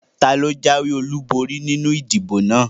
Taló jáwé ọlúborí nínu ìdìbò náà?